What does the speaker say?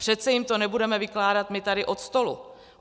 Přece jim to nebudeme vykládat my tady od stolu.